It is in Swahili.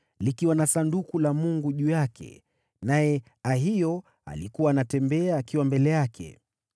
likiwa na Sanduku la Mungu juu yake, naye Ahio alikuwa anatembea akiwa mbele yake.